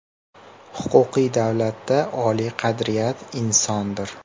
Huquqiy davlatda oliy qadriyat insondir.